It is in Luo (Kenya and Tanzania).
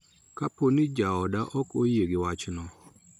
Kapo ni jaoda ok oyie gi wachno.